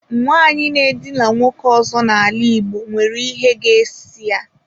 Nwanyị na-edina nwoke ọzọ n'ala igbo nwere ihe ga-esi ya.